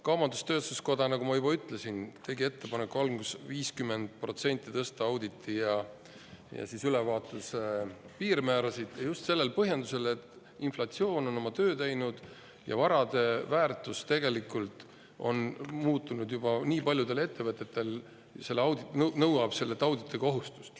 Kaubandus-tööstuskoda, nagu ma juba ütlesin, tegi ettepaneku 50% tõsta auditi ja ülevaatuse piirmäärasid, just sellise põhjendusega, et inflatsioon on oma töö teinud ja tegelikult on nii paljudel ettevõtetel juba varade väärtus muutunud, et see toob kaasa auditikohustuse.